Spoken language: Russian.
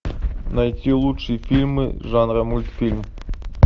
найти лучшие фильмы жанра мультфильм